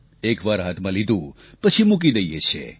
એક વાર હાથમાં લીધું પછી મૂકી દઈએ છીએ